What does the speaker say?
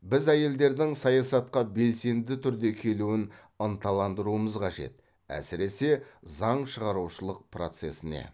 біз әйелдердің саясатқа белсенді түрде келуін ынталандыруымыз қажет әсіресе заң шығарушылық процесіне